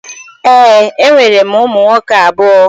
Ee, enwere m ụmụ nwoke abụọ